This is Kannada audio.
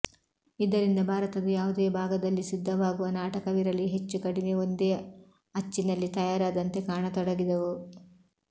ಇದರಿಂದ ಭಾರತದ ಯಾವುದೇ ಭಾಗದಲ್ಲಿ ಸಿದ್ಧವಾಗುವ ನಾಟಕವಿರಲಿ ಹೆಚ್ಚು ಕಡಿಮೆ ಒಂದೇ ಅಚ್ಚಿನಲ್ಲಿ ತಯಾರಾದಂತೆ ಕಾಣತೊಡಗಿದವು